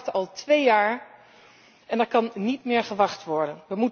We wachten al twee jaar en er kan niet meer gewacht worden.